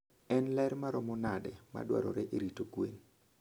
En ler maromo nade madwarore e rito gwen?